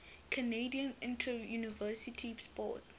canadian interuniversity sport